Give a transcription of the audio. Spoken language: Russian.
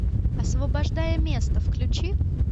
освобождая место включи